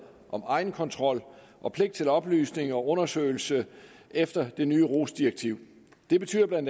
om egenkontrol og pligt til oplysning og undersøgelse efter det nye rohs direktiv det betyder bla